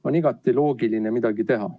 On igati loogiline midagi teha.